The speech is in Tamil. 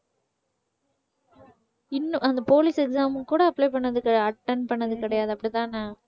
இன்னும் அந்த police exam க்கு கூட apply பண்ணதுக்கு attend பண்ணது கிடையாது அப்படித்தான?